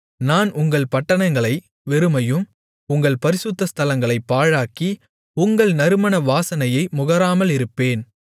நான் உங்கள் பட்டணங்களை வெறுமையும் உங்கள் பரிசுத்த ஸ்தலங்களைப் பாழாக்கி உங்கள் நறுமண வாசனையை முகராமலிருப்பேன்